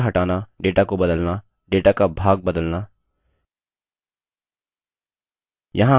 data हटाना data को बदलना data का भाग बदलना